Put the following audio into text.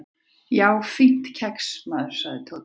"""Já, fínt kex, maður sagði Tóti."""